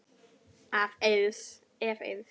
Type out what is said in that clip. Ef. Eiðs